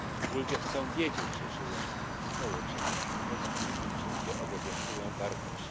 Ludzie chcą wiedzieć, że żyją w społeczeństwie, we wspólnocie, gdzie obowiązują wartości.